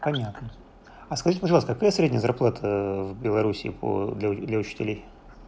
понятно а скажите пожалуйста какая средняя зарплата в белоруссии по для для учителей